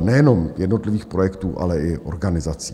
nejenom jednotlivých projektů, ale i organizací.